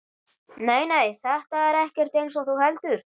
Nei, nei, þetta er ekkert eins og þú heldur.